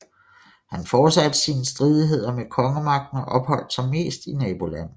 Han fortsatte sine stridigheder med kongemagten og opholdt sig mest i nabolandene